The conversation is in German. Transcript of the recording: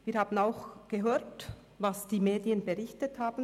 Wir haben auch gehört, was die Medien berichtet haben.